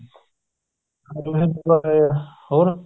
ਹਰੀ ਸਿੰਘ ਨਲੂਆ ਹੋਰ